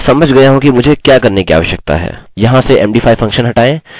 याद रखिये इसने पहले कार्य नहीं किया था जब हमने repeat password नहीं चुना था